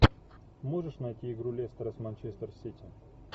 можешь найти игру лестера с манчестер сити